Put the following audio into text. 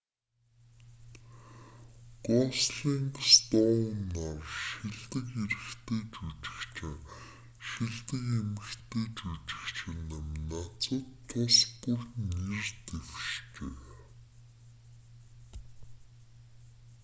гослинг стоун нар шилдэг эрэгтэй жүжигчин шилдэг эмэгтэй жүжигчин номинацад тус бүр нэр дэвшжээ